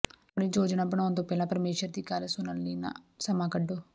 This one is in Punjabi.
ਆਪਣੀ ਯੋਜਨਾ ਬਣਾਉਣ ਤੋਂ ਪਹਿਲਾਂ ਪਰਮੇਸ਼ੁਰ ਦੀ ਗੱਲ ਸੁਣਨ ਲਈ ਸਮਾਂ ਕੱਢੋ